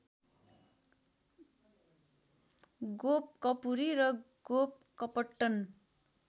गोपकपुरी र गोपकपट्टन